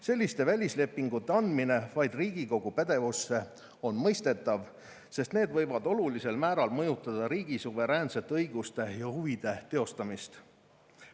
Selliste välislepingute andmine vaid Riigikogu pädevusse on mõistetav, sest need võivad olulisel määral mõjutada riigi suveräänsete õiguste ja huvide teostamist.